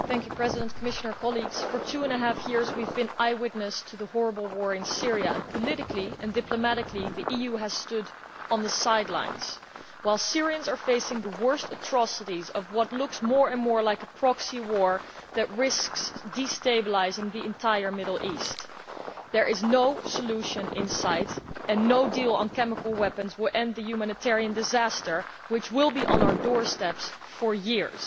Mr President, for two and a half years we have been eye witnesses to the horrible war in Syria, and politically and diplomatically the EU has stood on the sidelines while Syrians are facing the worst atrocities of what looks more and more like a proxy war that risks destabilising the entire Middle East. There is no solution in sight, and no deal on chemical weapons will end the humanitarian disaster, which will be on our doorsteps for years.